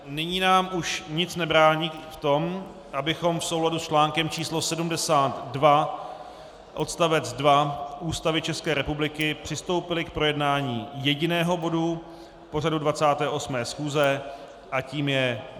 Nyní nám už nic nebrání v tom, abychom v souladu s článkem číslo 72 odst. 2 Ústavy České republiky přistoupili k projednání jediného bodu pořadu 28. schůze a tím je